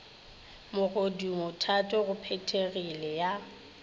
mogodumo thato go phethegile ya